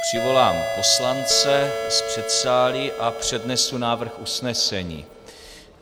Přivolám poslance z předsálí a přednesu návrh usnesení.